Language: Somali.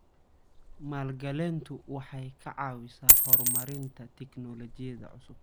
Maalgelintu waxay ka caawisaa horumarinta tignoolajiyada cusub.